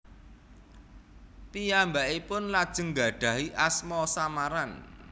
Piyambakipun lajeng nggadahi asma samaran